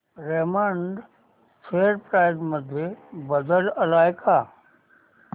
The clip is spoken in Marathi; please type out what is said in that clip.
रेमंड शेअर प्राइस मध्ये बदल आलाय का